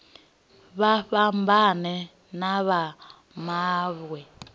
vha fhambane na vha mawe